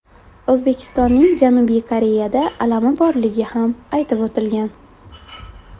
O‘zbekistonning Janubiy Koreyada alami borligi ham aytib o‘tilgan.